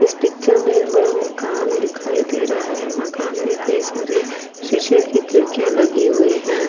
इस पिक्चर में एक बड़ा मकान दिखाई दे रहा है मकान में कई सारी शीशे की किड़कियां लगी हुई हैं ।